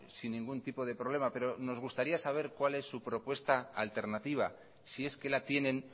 sin ningún tipo de problema pero nos gustaría saber cuál es su propuesta alternativa si es que la tienen